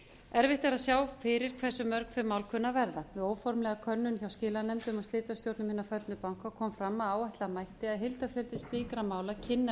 erfitt er að sjá fyrir hversu mörg þau mál kunni að verða við óformlega könnun hjá skilanefndum og slitastjórnum hinna föllnu banka kom fram að áætla mætti að heildarfjöldi slíkra mála kynni að